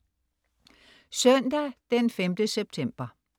Søndag den 5. september